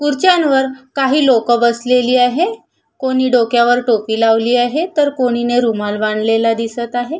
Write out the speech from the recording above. खुर्च्या वर काही लोक बसलेली आहे कोणी डोक्यावर टोपी लावलेली आहे तर कोणिणी रुमाल बांधलेला दिसत आहे.